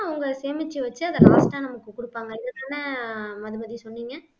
அவங்க சேமிச்சு வச்சு அதை last ஆ நமக்கு குடுப்பாங்க இதுக்கான மதுமதி சொன்னீங்க